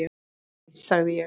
Hæ sagði ég.